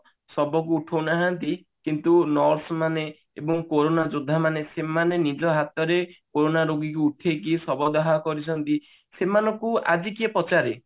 ସବ କୁ ଉଠାଉନାହାନ୍ତି କିନ୍ତୁ nurse ମାନେ ଏବଂ କୋରୋନା ଯୋଦ୍ଧା ମାନେ ସେମାନେ ନିଜ ହାତରେ କୋରୋନା ରୋଗୀ କୁ ଉଠେଇକି ସବ ଦାହ କରିଛନ୍ତି ସେମାନଙ୍କୁ ଆଜି କିଏ ପଚାରେ